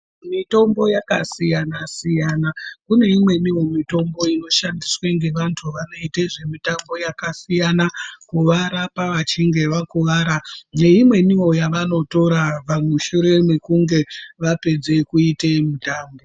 Mitombo yakasiyana-siyana. Kune imweniwo mitombo inoshandiswe ngevantu vanoite zvemitambo yakasiyana, kuvarapa vachinge vakuwara, neimweniwo yavanotora, pamushure mekunge vapedze kuite mitambo.